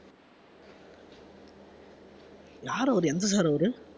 யாரு அவரு எந்த sir அவரு